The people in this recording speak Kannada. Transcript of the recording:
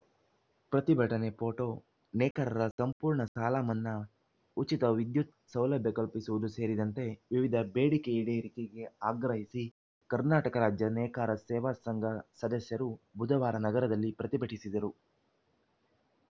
ಪ್ರತಿಭಟನೆ ಫೋಟೋ ನೇಕಾರರ ಸಂಪೂರ್ಣ ಸಾಲಮನ್ನಾ ಉಚಿತ ವಿದ್ಯುತ್‌ ಸೌಲಭ್ಯಕಲ್ಪಿಸುವುದು ಸೇರಿದಂತೆ ವಿವಿಧ ಬೇಡಿಕೆ ಈಡೇರಿಕೆಗೆ ಆಗ್ರಹಿಸಿ ಕರ್ನಾಟಕ ರಾಜ್ಯ ನೇಕಾರ ಸೇವಾ ಸಂಘ ಸದಸ್ಯರು ಬುಧವಾರ ನಗರದಲ್ಲಿ ಪ್ರತಿಭಟಿಸಿದರು